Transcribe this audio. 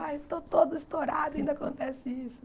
Aí eu estou toda estourada e ainda acontece isso.